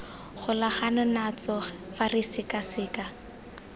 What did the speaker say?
golagana natso fa re sekaseka